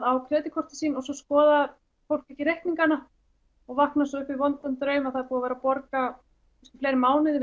á kreditkortin sín og svo skoðar fólk ekki reikningana og vaknar svo upp við vondan draum að það er búið að vera að borga í fleiri mánuði